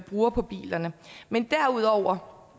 bruger på biler men derudover